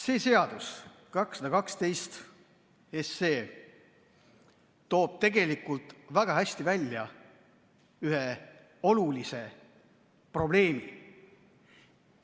See seaduseelnõu numbriga 212 toob tegelikult väga hästi välja ühe olulise probleemi.